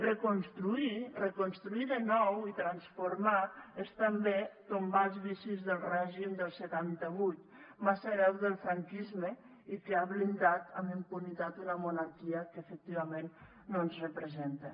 reconstruir reconstruir de nou i transformar és també tombar els vicis del règim del setanta vuit massa hereu del franquisme i que ha blindat amb impunitat una monarquia que efectivament no ens representa